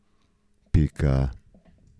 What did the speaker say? Pika.